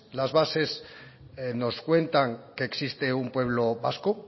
las bases nos cuentan que existe un pueblo vasco